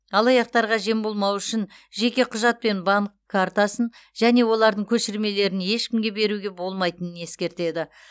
алаяқтарға жем болмау үшін жеке құжат пен банк картасын және олардың көшірмелерін ешкімге беруге болмайтынын ескертеді